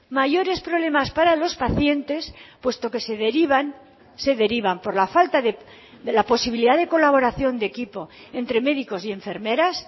mayores problemas para los pacientes puesto que se derivan se derivan por la falta de la posibilidad de colaboración de equipo entre médicos y enfermeras